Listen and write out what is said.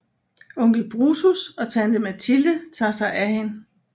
Onkel Brutus og tante Mathilde tager sig af hende